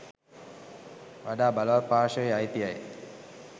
වඩා බලවත් පාර්ශවයේ අයිතියයි.